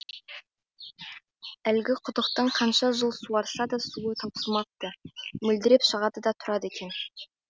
әлгі құдықтың қанша жыл суарса да суы таусылмапты мөлдіреп шығады да тұрады екен